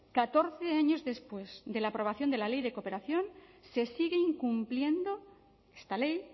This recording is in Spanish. catorce años después de la aprobación de la ley de cooperación se sigue incumpliendo esta ley